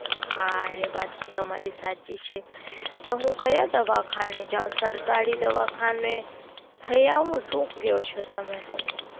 હા એ વાત તો તમારી સાચી છે. તો હું ક્યાં દવાખાને જાવ? સરકારી દવાખાને થઇ આવું? શું કયો છો તમે?